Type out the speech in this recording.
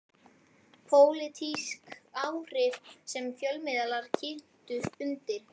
Pólitísk áhrif sem fjölmiðlar kyntu undir.